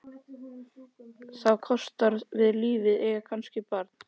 Þá er það kostur við lífið að eiga kannski barn.